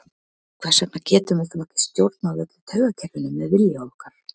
hvers vegna getum við þá ekki stjórnað öllu taugakerfinu með vilja okkar